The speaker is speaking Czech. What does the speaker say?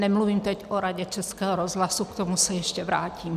Nemluvím teď o Radě Českého rozhlasu, k tomu se ještě vrátím.